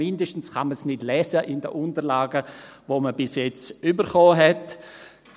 mindestens kann man es in den Unterlagen, die man bis jetzt erhalten hat, nicht lesen.